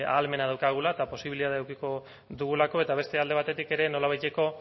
ahalmena daukagula eta posibilitatea edukiko dugulako eta beste alde batetik ere nolabaiteko